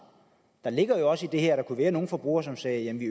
der ligger jo også i det her at der kunne være nogle forbrugere som sagde at vi